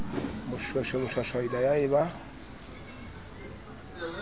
moshweshwe moshwashwaila ya e ba